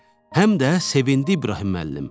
Həm də sevindi İbrahim müəllim.